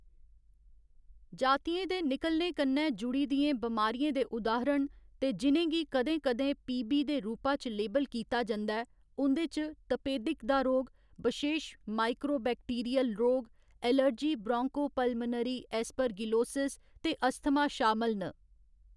जातियें दे निकलने कन्नै जुड़ी दियें बमारियें दे उदाहारण, ते जि'नें गी कदें कदें पीबी दे रूपा च लेबल कीता जंदा ऐ, उं'दे च तपेदिक दा रोग, बशेश माइकोबैक्टीरियल रोग, एलर्जी ब्रोंकोपुलमोनरी एस्परगिलोसिस ते अस्थमा शामल न।